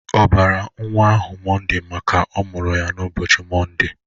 Ọ bara nwa ahụ mọnde maka ọ mụrụ ya n'ụbọchị mọnde?